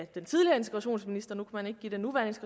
den tidligere integrationsminister man kan ikke give den nuværende